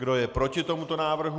Kdo je proti tomuto návrhu?